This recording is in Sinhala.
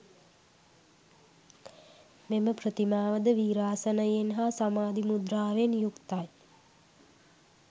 මෙම ප්‍රතිමාවද වීරාසනයෙන් හා සමාධි මුද්‍රාවෙන් යුක්තයි.